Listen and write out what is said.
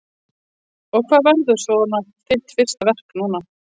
Erla: Og hvað verður svona þitt fyrsta verk núna?